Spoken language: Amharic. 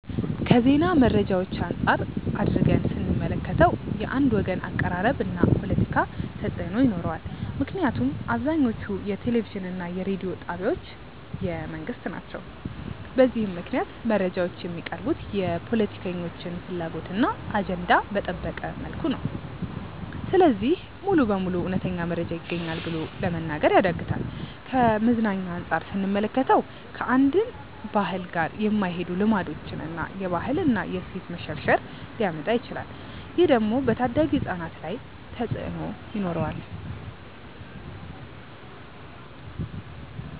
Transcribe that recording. ከዜና መረጃዎች አንፃር አድርገን ስንመለከተው። የአንድ ወገን አቀራረብ እና ፖለቲካ ተፅእኖ ይኖረዋል ምክንያቱም አብዛኞቹ የቴሌቪዥን እና የሬዲዮ ጣቢያዎች የመንግስት ናቸው። በዚህም ምክንያት መረጃዎች የሚቀርቡት የፖለቲከኞችን ፍላጎት እና አጀንዳ በጠበቀ መልኩ ነው። ስለዚህ ሙሉ በሙሉ እውነተኛ መረጃ ይገኛል ብሎ ለመናገር ያዳግታል። ከመዝናኛ አንፃር ስንመለከተው። ከአንድን ባህል ጋር የማይሄዱ ልማዶችን እና የባህል እና የእሴት መሸርሸር ሊያመጣ ይችላል። ይህ ደግሞ በታዳጊ ህፃናት ላይ ተፅእኖ ይኖረዋል።